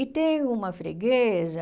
E tenho uma freguesa...